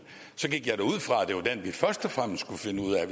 så gik jeg da ud fra at det var den vi først og fremmest skulle finde ud af at